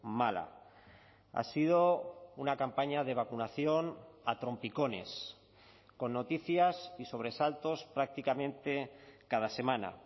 mala ha sido una campaña de vacunación a trompicones con noticias y sobresaltos prácticamente cada semana